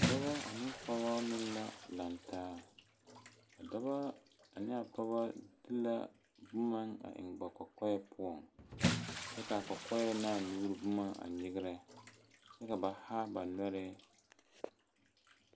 Dɔba ane pɔgeba meŋ la laŋe taa, a Dɔba ane a pɔgeba de la boma mine eŋe. ba kɔkɔreŋ poɔ, kyɛ kaa kɔkɔɛ ne a nuuri boma nyigire. kyɛ ka ba haa ba noɔree